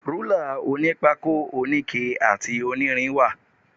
Rúlà onípákó, oníke àti onírin wà.